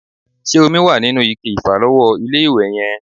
Ṣé omi wà nínú ike ìfàlọ́wọ́ ilé-ìwẹ̀ yẹn?